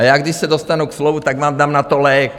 A já, když se dostanu ke slovu, tak vám dám na to lék.